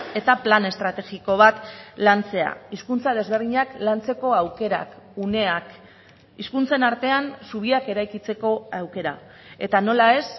eta plan estrategiko bat lantzea hizkuntza desberdinak lantzeko aukerak uneak hizkuntzen artean zubiak eraikitzeko aukera eta nola ez